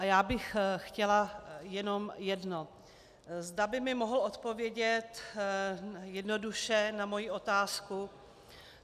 A já bych chtěla jenom jedno, zda by mi mohl odpovědět jednoduše na moji otázku.